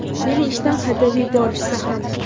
Meni ishdan haydab yuborishsa ham.